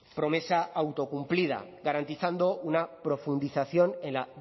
promesa autocumplida garantizando una profundización en la